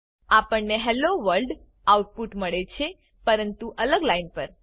આપણને hello world output મળે છેપરંતુ અલગ લાઈન પર